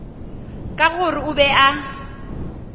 ka gore o be a